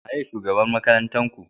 Waye shugaban makarantar Ku?